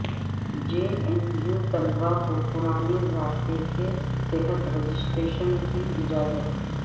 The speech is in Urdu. جے این یو طلباء کو پرانے ضابطے کے تحت رجسٹریشن کی اجازت